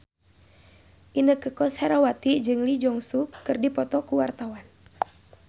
Inneke Koesherawati jeung Lee Jeong Suk keur dipoto ku wartawan